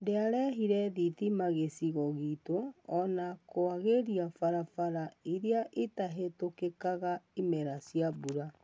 Ndĩarehire thitima Gĩcigo giitu ona kũagĩria barabara ĩria itahĩtũkĩkaga imera cia mbura.